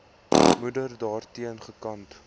moeder daarteen gekant